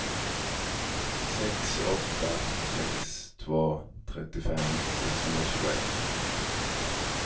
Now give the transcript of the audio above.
sex åtta sex två trettiofem sexhundratjugoett